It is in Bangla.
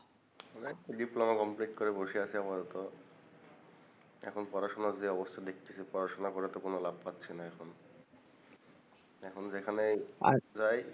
করে বসে আছি আপাতত এখন পড়ড়াশোনার যে অবস্থা দেখতেসি পড়াশোনা করে ত লাভ পাচ্ছিনা এখন এখন যেখানেই আর